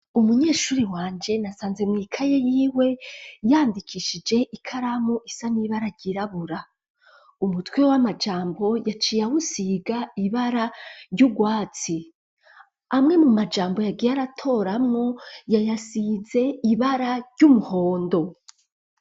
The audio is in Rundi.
Umunyeshuri wanje nasanze mwikaye y'iwe yandikishije ikaramu isanibara ryirabura umutwe w'amajambo yaciye ahusiga ibara ry'ubwatsi amwe mu majambo yagiyaratoramo yayasize ibara ry'umuhondo.